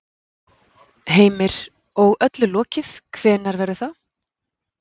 Heimir: Og öllu lokið, hvenær verður það?